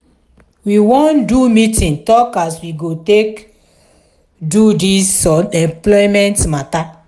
we wan do meeting tok as we go take do dis unemployment mata.